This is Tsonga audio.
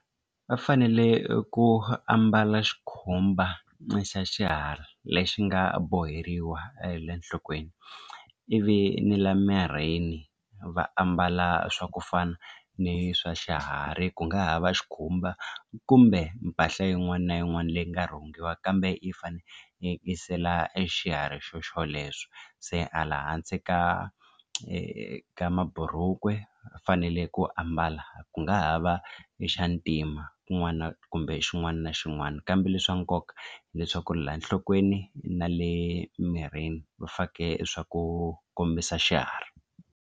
Va fanele ku ambala xikhumba xa xiharhi lexi nga borheriwa enhlokweni ivi ni la mirini va ambala swa ku fana ni swa xiharhi ku nga ha va xikhumba kumbe mpahla yin'wana na yin'wana leyi nga rhungiwa kambe yi fanekisela e xiharhi xoxolexo se hala hansi ka eka maburuku fanele ku ambala ku nga ha va ni xa ntima kun'wana kumbe xin'wana na xin'wana kambe leswa nkoka hileswaku laha enhlokweni na le mirini va fake swa ku kombisa xiharhi.